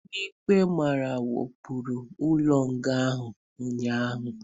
Ndị ekperima wakporo ụlọ nga ahụ ụnyaahụ